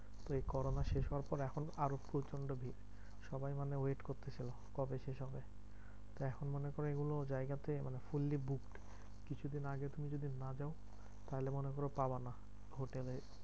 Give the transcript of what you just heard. তো এই corona শেষ হওয়ার পর এখন আরও প্রচন্ড ভিড়। সবাই মানে wait করতেছিলো কবে শেষ হবে? এখন মনে করো এগুলো জায়গাতে মানে fully booked. কিছু দিন আগে তুমি যদি না যাও তাহলে মনে করো পাবানা। হোটেলে